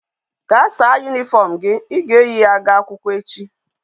Ga sa uwe uniform gi,I ga eyi ya ga akwukwo echi